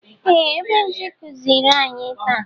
Ee! Ebenje kụziiri anyi taa.